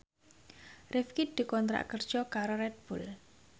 Rifqi dikontrak kerja karo Red Bull